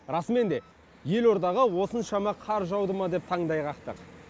расымен де елордаға осыншама қар жауды ма деп таңдай қақтық